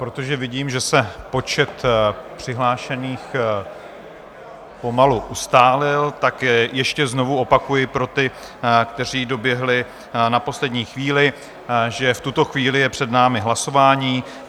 Protože vidím, že se počet přihlášených pomalu ustálil, tak ještě znovu opakuji pro ty, kteří doběhli na poslední chvíli, že v tuto chvíli je před námi hlasování.